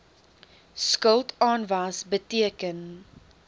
skuld aanwas beteken